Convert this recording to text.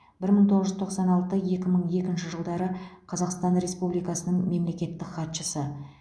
бір мың тоғыз жүз тоқсан алты екі мың екінші жылдары қазақстан республикасының мемлекеттік хатшысы